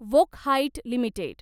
Wockhardt limited